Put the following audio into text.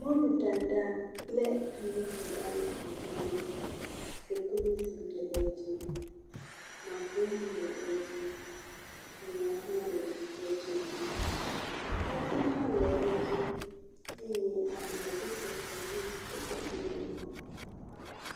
Mɔluɖaɖa kple ayiɖaɖa le agbame, koklozi le edzi, makroni le edzi, elã hã le edzi, atadi hã le edzi eye abladzotɔtɔe hã kpe ɖe eŋu.